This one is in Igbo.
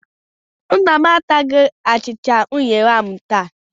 Nna m ataghị achịcha unere ahụ taa.